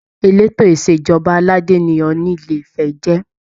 Eleto Ìṣèjọba aládé ni Ọọni Ilé ifẹ jẹ.